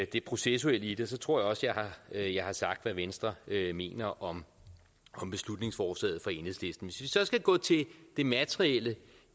det processuelle i det så tror jeg også at jeg har sagt hvad venstre mener om om beslutningsforslaget fra enhedslisten så skal gå til det materielle